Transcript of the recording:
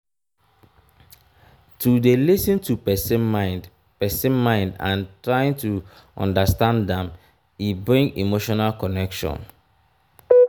to de lis ten to persin mind persin mind and trying to understand am e bring emotional connection